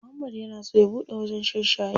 Muhammad yana so ya buɗe wajen shan shayi.